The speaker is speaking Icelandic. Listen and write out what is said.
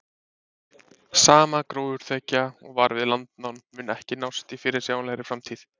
Sama gróðurþekja og var við landnám mun ekki nást í fyrirsjáanlegri framtíð.